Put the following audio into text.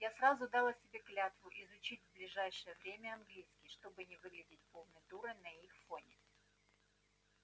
я сразу дала себе клятву изучить в ближайшее время английский чтобы не выглядеть полной дурой на их фоне